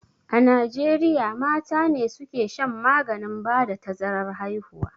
A najieriya mata ne suka shan maganin ba da tazarar haihuwa